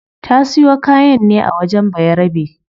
Ta siyo kayan ne a wajen bayarabe